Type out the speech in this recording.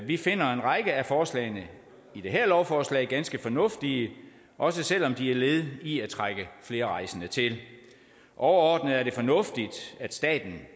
vi finder en række af forslagene i det her lovforslag ganske fornuftige også selv om de er led i at trække flere rejsende til overordnet er det fornuftigt at staten